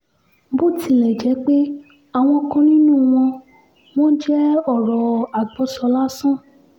bó tilẹ̀ jẹ́ pé àwọn kan nínú wọn wọn jẹ́ ọ̀rọ̀ àgbọ́sọ lásán